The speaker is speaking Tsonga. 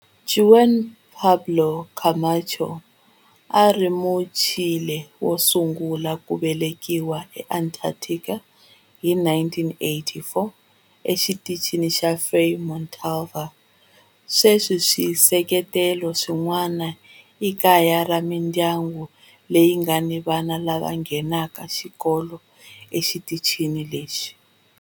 Juan Pablo Camacho a ri Muchile wo sungula ku velekiwa eAntarctica hi 1984 eXitichini xa Frei Montalva. Sweswi swisekelo swin'wana i kaya ra mindyangu leyi nga ni vana lava nghenaka xikolo exitichini lexi.